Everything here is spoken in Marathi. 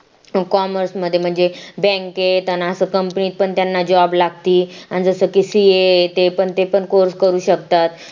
commerece मध्ये म्हणजे bank त आणि असं company पण त्यांना job लागती आणि जसं की ca ते पण ते पण course करू शकतात